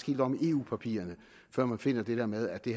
helt om i eu papirerne før man finder det med at det